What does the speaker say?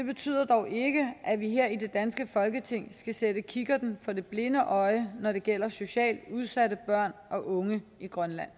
betyder dog ikke at vi her i det danske folketing skal sætte kikkerten for det blinde øje når det gælder socialt udsatte børn og unge i grønland